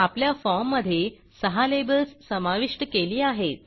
आपल्या फॉर्ममधे सहा लेबल्स समाविष्ट केली आहेत